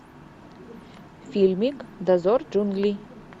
фильмик дозор джунглей